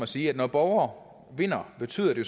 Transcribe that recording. sige når borgere vinder betyder det